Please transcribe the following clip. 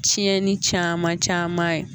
Ciɛyɛnni caman caman ye.